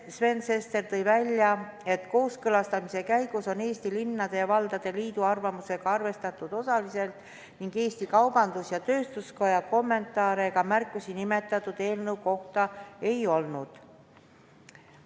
Sven Sester tõi välja, et kooskõlastamise käigus on Eesti Linnade ja Valdade Liidu arvamust arvestatud osaliselt ning et Eesti Kaubandus-Tööstuskoja kommentaare ega märkusi nimetatud eelnõu kohta ei olnud.